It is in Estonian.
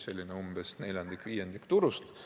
See on neljandik-viiendik turust.